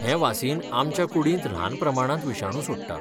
हें वासीन आमच्या कुडींत ल्हान प्रमाणांत विशाणू सोडटा.